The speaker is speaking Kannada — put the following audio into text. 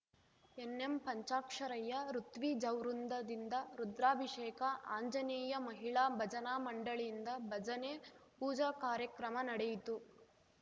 ಎನ್‌ಎಂಪಂಚಾಕ್ಷರಯ್ಯ ಋತ್ವಿಜವೃಂದದಿಂದ ರುದ್ರಾಭಿಷೇಕ ಆಂಜನೇಯ ಮಹಿಳಾ ಭಜನಾಮಂಡಳಿಯಿಂದ ಭಜನೆ ಪೂಜಾ ಕಾರ್ಯಕ್ರಮ ನಡೆಯಿತು